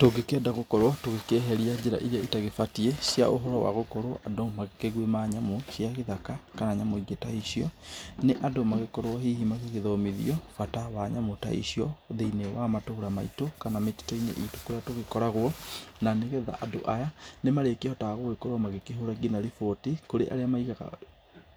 Tũngĩkĩenda gukorwo tũgĩkĩeheria njĩra iria ita kĩbatiĩ cia ũhoro wa gukorwo andũ makĩgwĩma nyamũ cia gĩthaka, kana nĩ nyũmbũ ta icio, nĩ andũ magĩkorwo hihi magĩthomithio bata wa nyamũ ta icio, thĩiniĩ wa matũra maitũ, kana mĩtitũ itũ kũrĩa tũgĩkoragwo, na nĩgetha andũ aya nĩmarĩgĩkoragwo makĩhũra nginya riboti kũrĩ arĩa maigaga